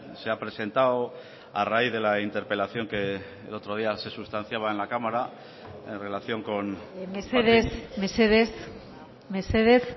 se ha presentado a raíz de la interpelación que el otro día se sustanciaba en la cámara en relación con mesedez mesedez mesedez